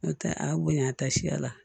N'o tɛ a bonya taa siya la